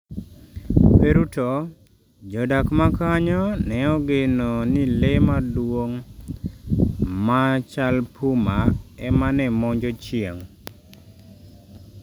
Peru to, jodak makanyo neogeno ni le maduong' ma chal puma ema ne monjo chieng'